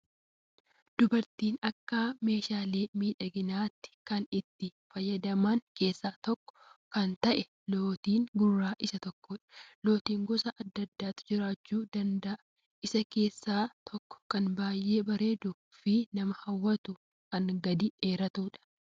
Dubartoonni Akka meeshaalee miidhaginaatti kan itti fayyadaman keessaa tokko kan ta'e lootiin gurraa isa tokkodha. Lootiin gosoota hedduutu jiraachuu danda'a, isaan keessaa tokko kan baay'ee bareeduu fi nama hawwatu kan gadi dheeratudha